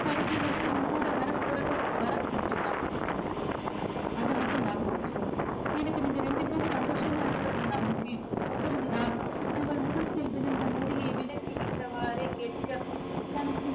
கடைசி வரைக்கும் உன் கூட வரப்போறது பரத் மட்டும் தான் அத மட்டும் ஞாபகம் வச்சுக்கோ எனக்கு நீங்க ரெண்டு பேரும் சந்தோஷமா இருக்கிறது தான் முக்கியம் புரிஞ்சுதா அவள் முகத்தில் விழுந்த முடியை விலக்கிவிட்டவாரே கேட்க தனக்கு